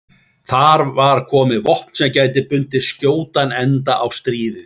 Þar var komið vopn sem gæti bundið skjótan enda á stríðið.